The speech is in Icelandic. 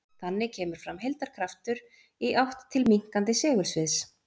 Þannig kemur fram heildarkraftur í átt til minnkandi segulsviðs.